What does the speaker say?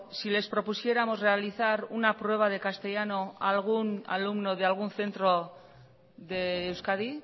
si les propusiéramos realizar una prueba de castellano a algún alumno de algún centro de euskadi